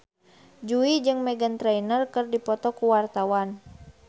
Jui jeung Meghan Trainor keur dipoto ku wartawan